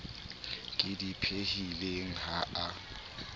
ke di phehileng ha a